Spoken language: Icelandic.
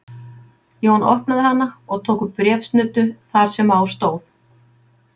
Jón opnaði hana og tók upp bréfsnuddu þar sem á stóð